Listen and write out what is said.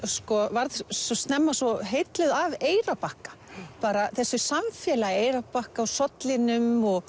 varð snemma svo heilluð af Eyrarbakka bara þessu samfélagi Eyrarbakka og sollinum og